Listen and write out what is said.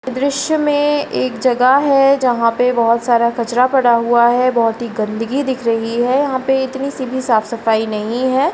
दृश्य में एक जगह है जहाँ पे बहुत सारा कचरा पड़ा हुआ है बहुत ही गंदगी दिख रही है यहाँ पे इतनी सी भी साफ-सफाई नहीं है।